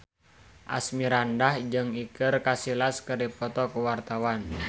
Asmirandah jeung Iker Casillas keur dipoto ku wartawan